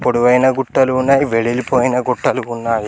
పొడవైన గుట్టలు ఉన్నాయి వెడల్పోయిన గొట్టాలు ఉన్నాయి.